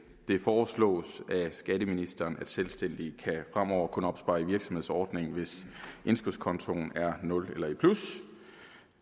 det foreslås af skatteministeren at selvstændige fremover kun kan opspare i virksomhedsordningen hvis indskudskontoen er i nul eller plus